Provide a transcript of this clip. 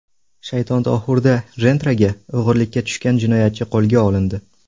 Shayxontohurda Gentra’ga o‘g‘rilikka tushgan jinoyatchi qo‘lga olindi.